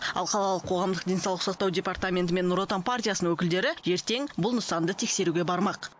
ал қалалық қоғамдық денсаулық сақтау департаменті мен нұр отан партиясының өкілдері ертең бұл нысанды тексеруге бармақ